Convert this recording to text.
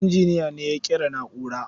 Injiniyan ne ya ƙera na'urar.